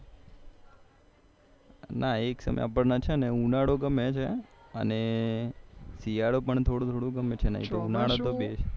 ના એક સમય આપણને છે ઉનાળુ ગમે અને શિયાળો પણ થોડું થોડુ ગમે છે ને ઉનાળુ બે